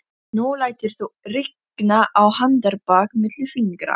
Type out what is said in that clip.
Nú læturðu rigna á handarbak milli fingra